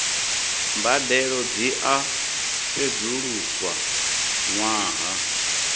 mbadelo dzi a sedzuluswa ṅwaha